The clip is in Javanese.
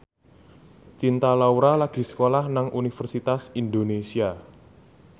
Cinta Laura lagi sekolah nang Universitas Indonesia